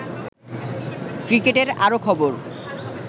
ক্রিকেটের আরো খবর